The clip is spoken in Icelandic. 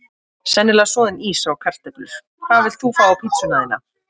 sennilega soðin ýsa og kartöflur Hvað vilt þú fá á pizzuna þína?